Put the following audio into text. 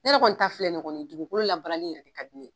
Ne yɛrɛ kɔni ta filɛ kɔni dugukolo labaarali yɛrɛ ka di ne ye.